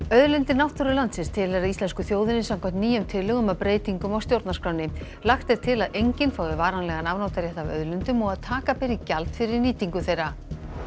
auðlindir náttúru landsins tilheyra íslensku þjóðinni samkvæmt nýjum tillögum að breytingum á stjórnarskránni lagt er til að enginn fái varanlegan afnotarétt af auðlindum og að taka beri gjald fyrir nýtingu þeirra